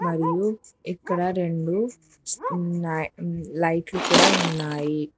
అయ్యో ఎక్కడ రెండు లైట్లు కూడా ఉన్నాయి.